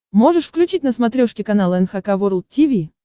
можешь включить на смотрешке канал эн эйч кей волд ти ви